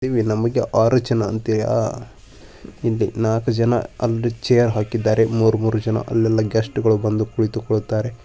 ನಮಗೇ ಆರು ಜನ ಅಂತೇಯ ಹಿಂದೆ ನಾಲ್ಕು ಜನ ಅಲ್ಲಿ ಚೇರ್ ಹಾಕಿದ್ದಾರೆ ಮೂರು ಮೂರು ಜನ ಅಲ್ಲಲ್ಲಿ ಗೆಸ್ಟ್ಗಳು ಬಂದು ಕುಳಿತುಕೊಳ್ಳುತಾರೆ.